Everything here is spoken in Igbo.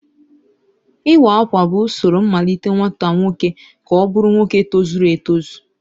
Iwa Akwa bụ usoro mmalite nwata nwoke ka ọ bụrụ nwoke tozuru etozu